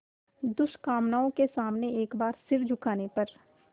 दुष्कामनाओं के सामने एक बार सिर झुकाने पर